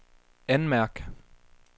anmærk